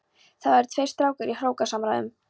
Þar eru tveir strákar í hrókasamræðum.